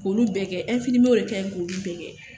K'olu bɛɛ kɛ, infirmiye de k'an k'olu bɛɛ kɛ.